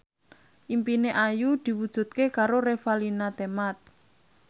impine Ayu diwujudke karo Revalina Temat